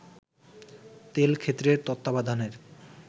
তেল ক্ষেত্রের তত্ত্বাবধানের